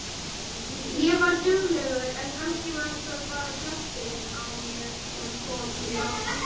Ég var duglegur en kannski var það bara kjafturinn á mér sem kom mér áfram.